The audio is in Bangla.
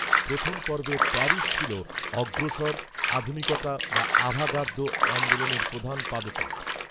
প্রথম পর্বে প্যারিস ছিল অগ্রসর, আধুনিকতা বা আভাঁগার্দ, আন্দোলনের প্রধান পাদপীঠ